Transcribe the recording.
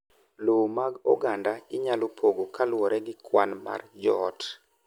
Lowo mag oganda inyalo pogo kaluwore gi kwan mar joot.